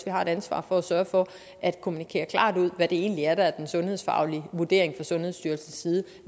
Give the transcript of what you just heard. har et ansvar for at sørge for at kommunikere klart ud hvad det egentlig er der er den sundhedsfaglige vurdering fra sundhedsstyrelsens side